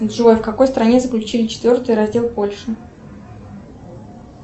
джой в какой стране заключили четвертый раздел польши